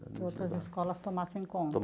Que outras escolas tomassem conta.